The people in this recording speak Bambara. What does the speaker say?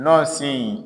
Nɔsi